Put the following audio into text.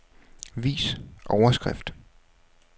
Vis overskrift.